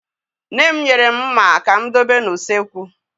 Nne m nyere mụ mma ka mụ dobe n'usekwu